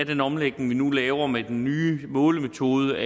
den omlægning vi nu laver med den nye målemetode